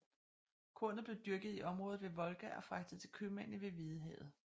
Kornet blev dyrket i området ved Volga og fragtet til købmændene ved Hvidehavet